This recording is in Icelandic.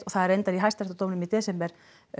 það er reyndar í hæstaréttardóminum í desember